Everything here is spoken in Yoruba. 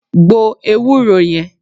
2. Gbo Ewúro yẹn.